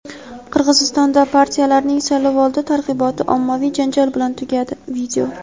Qirg‘izistonda partiyalarning saylovoldi targ‘iboti ommaviy janjal bilan tugadi.